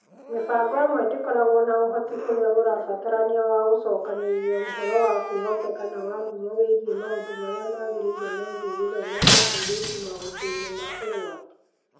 Mĩbango ĩmwe ndĩkoragwo na ũhoti ũrĩa ũrabatarania wa gũcokanĩrĩria ũhoro wa kwĩhokeka na wa ngumo wĩgiĩ maũndũ marĩa magĩrĩire megiĩ gĩthomo kĩa airĩtu maũndũ-inĩ ma ũgwati.